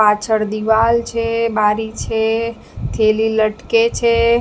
પાછળ દીવાલ છે બારી છે થેલી લટકે છે.